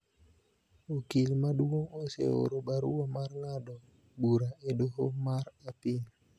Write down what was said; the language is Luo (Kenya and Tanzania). Okil maduong' oseoro barua mar ng�ado bura e doho mar Apil